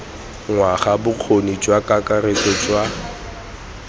ngwaga bokgoni jwa kakaretso jwa